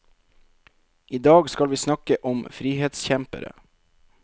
I dag skal vi snakke om frihetskjempere.